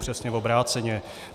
Přesně obráceně.